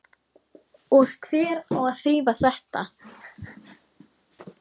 Og hver á að þrífa þetta?